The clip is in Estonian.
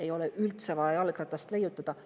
Ei ole üldse vaja jalgratast leiutada.